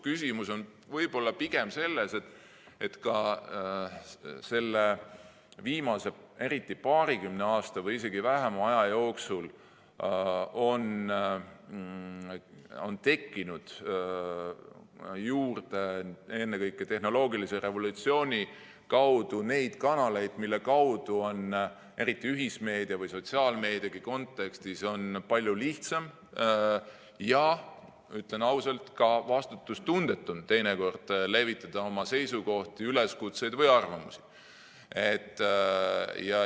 Küsimus võib olla pigem selles, et viimase paarikümne aasta või isegi vähema aja jooksul on ennekõike tehnoloogilise revolutsiooni tõttu tekkinud juurde neid kanaleid, mille kaudu on, eriti ühismeedia või sotsiaalmeedia kontekstis, palju lihtsam, ja ütlen ausalt, teinekord ka vastutustundetu levitada oma seisukohti, üleskutseid või arvamusi.